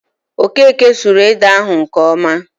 Okeke suru ede ahụ nke ọma